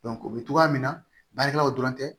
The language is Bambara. o bɛ togoya min na baarakɛlaw dɔrɔn tɛ